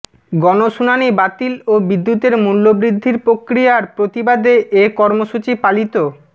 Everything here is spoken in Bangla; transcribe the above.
গণশুনানি বাতিল ও বিদ্যুতের মূল্যবৃদ্ধির প্রক্রিয়ার প্রতিবাদে এ কর্মসূচি পালিত